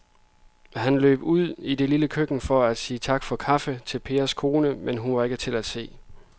Han løb ud i det lille køkken for at sige tak for kaffe til Pers kone, men hun var ikke til at se.